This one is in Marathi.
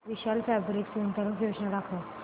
विशाल फॅब्रिक्स गुंतवणूक योजना दाखव